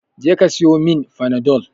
Je ka siyomin fanadol